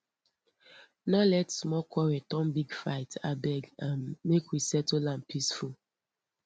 no let small quarrel turn big fight abeg um make we settle am peaceful